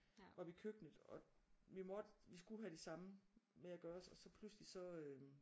Oppe i køkkenet og vi måtte vi skulle have de samme med at gøres og så pludselig så øh